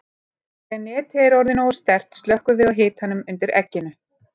Þegar netið er orðið nógu sterkt slökkvum við á hitanum undir egginu.